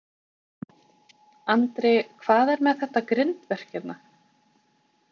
Andri: Hvað er með þetta grindverk hérna?